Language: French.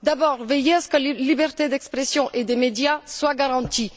D'abord, veiller à ce que les libertés d'expression et des médias soient garanties.